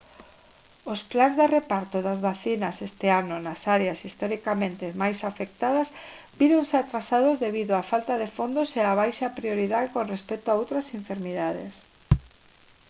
os plans de reparto das vacinas este ano nas áreas historicamente máis afectadas víronse atrasados debido á falta de fondos e á baixa prioridade con respecto a outras enfermidades